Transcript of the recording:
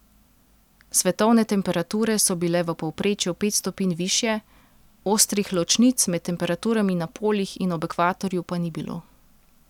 Svetovne temperature so bile v povprečju pet stopinj višje, ostrih ločnic med temperaturami na polih in ob ekvatorju pa ni bilo.